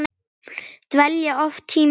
Dvelja oft tímunum saman í